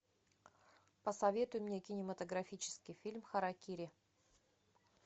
посоветуй мне кинематографический фильм харакири